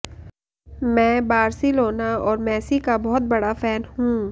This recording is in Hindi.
मैं बार्सिलोना और मैसी का बहुत बड़ा फैन हूं